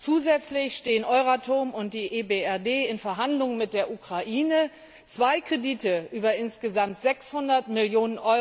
Zusätzlich stehen Euratom und die EBRD in Verhandlungen mit der Ukraine, zwei Kredite über insgesamt 600 Mio.